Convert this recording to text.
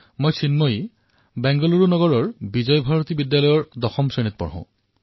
অহং চিন্ময়ী বেংগালুৰু নগৰে বিজয়ভাৰতী বিদ্যালয়ে দশম কক্ষায়াং পঠামি